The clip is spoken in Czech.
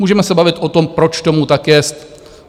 Můžeme se bavit o tom, proč tomu tak jest?